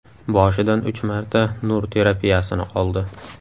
Boshidan uch marta nur terapiyasini oldi.